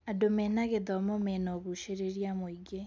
Andũ mena gĩthomo mena ũgucĩrĩria mũingĩ.